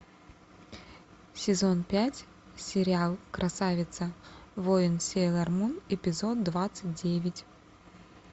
сезон пять сериал красавица воин сейлор мун эпизод двадцать девять